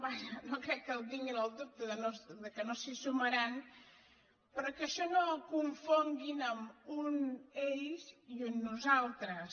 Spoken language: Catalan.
vaja no crec que el tinguin el dubte no s’hi sumaran però que ai·xò no ho confonguin amb un ells i un nosaltres